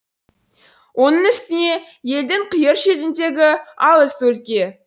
оның үстіне елдің қиыр шетіндегі алыс өлке